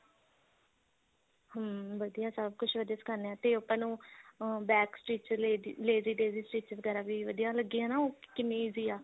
ਹਮ ਵਧੀਆ ਸਭ ਕੁੱਝ ਵਧੀਆ ਸਿਖਾਂਦੇ ਤੇ ਆਪਾਂ ਨੂੰ ਅਹ back stich lazy daisy stich ਵਗੈਰਾ ਵੀ ਵਧੀਆ ਲੱਗੀ ਹਨਾ ਉਹ ਕਿੰਨੀ easy ਆ